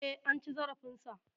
E, an ci zarafinsa.